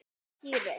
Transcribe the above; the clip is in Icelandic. Týri!